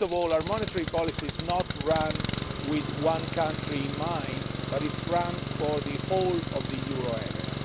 First of all, our monetary policy is not run with one country in mind, but it is run for the whole of the euro area.